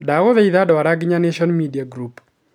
Ndagũthaitha ndwara gina nation media group